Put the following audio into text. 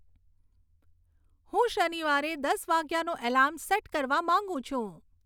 હું શનિવારે દસ વાગ્યાનું એલાર્મ સેટ કરવા માંગું છું